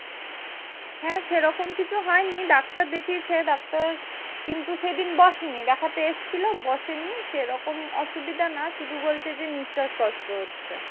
হ্যাঁ সেরকম কিছু হয়নি। ডাক্তার দেখিয়েছে, ডাক্তার কিন্তু সেদিন বসেনি দেখতে এসেছিলো বসেনি। সেরকম অসুবিধা না শুধু বলছে যে, নিঃস্বাস কষ্ট হচ্ছে।